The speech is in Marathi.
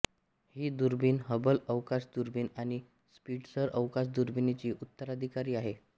ही दुर्बीण हबल अवकाश दुर्बीण आणि स्पिट्झर अवकाश दुर्बिणीची उत्तराधिकारी आहे